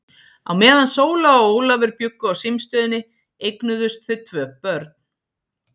Á meðan Sóla og Ólafur bjuggu á símstöðinni eignuðust þau tvö börn.